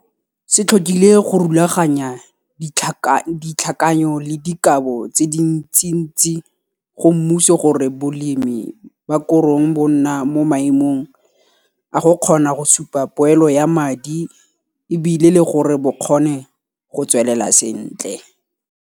Se tlhokile go rulaganya ditlhakanyo le dikabo tse dintsintsi go mmuso gore bolemi ba korong bo nna mo maemong a go kgona go supa poelo ya madi e bile le gore bo kgone go tswelela sentle.